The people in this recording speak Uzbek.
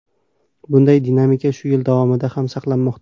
Bunday dinamika shu yil davomida ham saqlanmoqda.